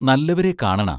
നല്ലവരെ കാണണ